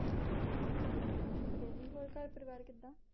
ਠੀਕ ਹੈ ਜੀ ਹੋਰ ਘਰ ਪਰਵਾਰ ਕਿਦਾਂ